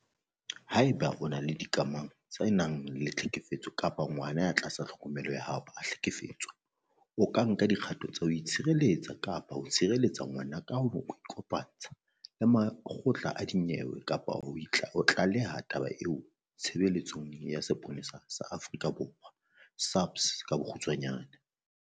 Haeba o le dikamanong tse nang le tlhekefetso kapa ngwana ya tlasa tlhokomelo ya hao a hlekefetswa, o ka nka dikgato tsa ho itshireletsa kapa ho tshireletsa ngwana ka ho ikopantsha le makgotla a dinyewe kapa ho tlaleha taba eo Tshebeletsong ya Sepolesa sa Aforika Borwa, SAPS, .